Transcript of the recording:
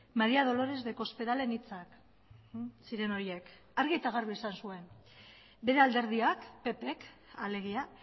maria dolores de cospedalen hitzak ziren horiek argi eta garbi esan zuen bere alderdiak ppk alegia